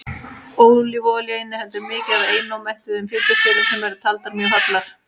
ólífuolía inniheldur mikið af einómettuðum fitusýrum sem eru taldar mjög hollar